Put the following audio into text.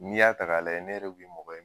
N'i y'a ta ka lajɛ ne yɛrɛ bi mɔgɔ ye